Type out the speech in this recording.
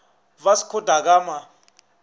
vasco da gama